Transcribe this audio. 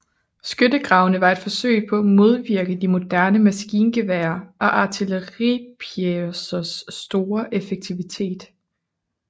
Skyttegravene var et forsøg på at modvirke de moderne maskingeværer og artilleripjecers store effektivitet